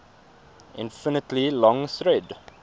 infinitely long thread